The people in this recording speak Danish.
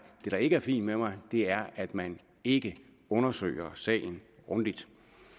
det der ikke er fint med mig er at man ikke undersøger sagen grundigt